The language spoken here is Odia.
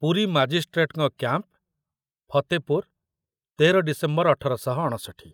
ପୁରୀ ମାଜିଷ୍ଟ୍ରେଟଙ୍କ କ‍୍ୟାମ୍ପ ଫତେପୁର ତେର ଡିସେମ୍ବର ଅଠର ଶହ ଅଣଷଠି